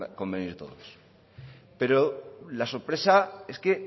convenir todos pero la sorpresa es que